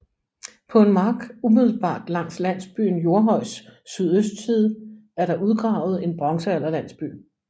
På en mark umiddelbart langs landsbyen Jordhøjs sydøstside er der udgravet en bronzealderlandsby